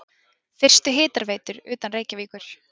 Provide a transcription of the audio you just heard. Fyrstu hitaveitur utan Reykjavíkur